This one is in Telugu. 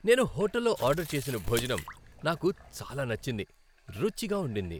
నేను హోటల్లో ఆర్డర్ చేసిన భోజనం నాకు చాలా నచ్చింది. రుచిగా ఉండింది!